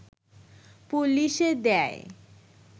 পুলিশে দেয়